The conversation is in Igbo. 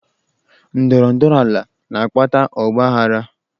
Ndọrọ ndọrọ ala na-akpata ọgbaaghara.